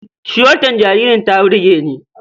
Suwetar jaririn ta burge ni.